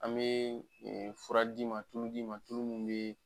An bɛ fura d'i ma , tulu d'i ma tulu minnu bɛ